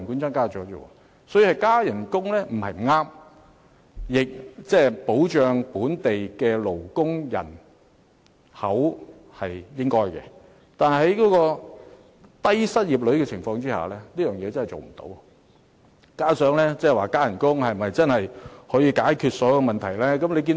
所以，增加薪酬不是不對，保障本地勞動人口也是應該的，但在低失業率下，實在無法請到足夠勞工，而增加薪酬是否真的可以解決所有問題亦成疑問。